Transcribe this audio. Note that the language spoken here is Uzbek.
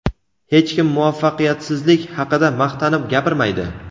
Hech kim muvaffaqiyatsizlik haqida maqtanib gapirmaydi.